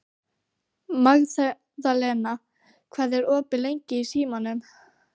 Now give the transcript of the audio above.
Magðalena, hvað er opið lengi í Símanum?